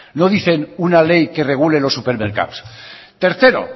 no dicen una ley que regule los supermercados tercero